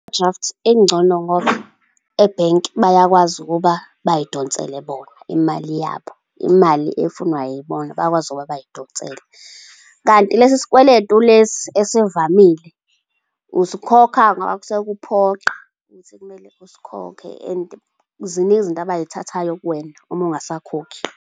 I-overdraft ingcono ngoba ebhenki bayakwazi ukuba bay'donsele bona imali yabo, imali efunwa yibona, bayakwazi ukuba bay'donsele. Kanti lesi sikweletu lesi esivamile, usikhokha ngoba kusuke kuphoqa ukuthi kumele usikhokhe. And ziningi izinto abayithathayo kuwena uma ungasakhokhi.